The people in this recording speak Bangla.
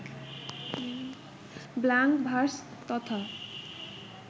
ব্ল্যাংক ভার্স তথা